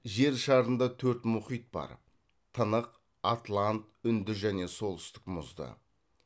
жер шарында төрт мұхит бар тынық атлант үнді және солтүстік мұзды